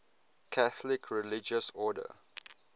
catholic religious order